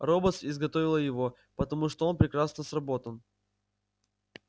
роботс изготовила его потому что он прекрасно сработан